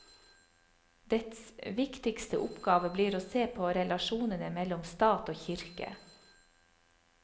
Dets viktigste oppgave blir å se på relasjonene mellom stat og kirke.